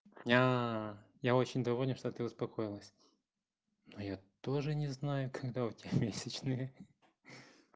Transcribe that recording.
я очень довольна что ты успокоилась но я тоже не знаю когда у тебя месячные